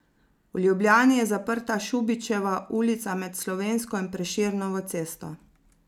V Ljubljani je zaprta Šubičeva ulica med Slovensko in Prešernovo cesto.